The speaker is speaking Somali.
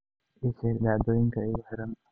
ii sheeg dhacdooyinka igu xeeran